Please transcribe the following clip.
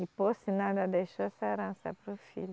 E por sinal ainda deixou essa herança para o filho.